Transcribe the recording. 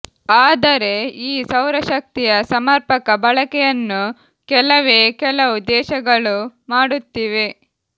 ಆದರೆ ಈ ಸೌರಶಕ್ತಿಯ ಸಮರ್ಪಕ ಬಳಕೆಯನ್ನು ಕೆಲವೇ ಕೆಲವು ದೇಶಗಳು ಮಾಡುತ್ತಿವೆ